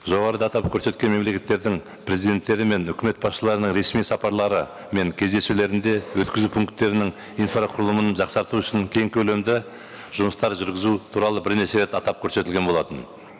жоғарыда атап көрсеткен мемлекеттердің президенттері мен өкімет басшыларына ресми сапарлары мен кездесулерінде өткізу пункттерінің инфрақұрылымын жақсарту үшін кең көлемді жұмыстар жүргізу туралы бірнеше рет атап көрсетілген болатын